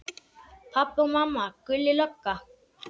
Pabbi og mamma, Gulli lögga.